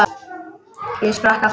Ég sprakk aftur.